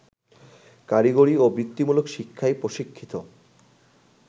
কারিগরি ও বৃত্তিমূলক শিক্ষায় প্রশিক্ষিত